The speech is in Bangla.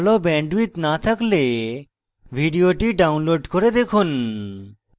ভাল bandwidth না থাকলে ভিডিওটি download করে দেখুন